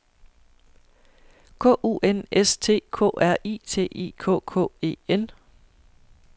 K U N S T K R I T I K K E N